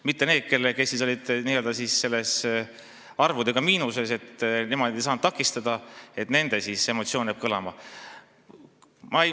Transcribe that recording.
Mitte nii, et kõlama jääks nende emotsioon, kes olid n-ö arvuliselt miinuses ega saanud selle toimumist takistada.